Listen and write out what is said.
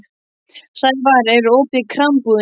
Sævarr, er opið í Krambúðinni?